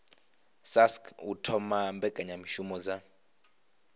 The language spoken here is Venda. sasc u thoma mbekanyamishumo dza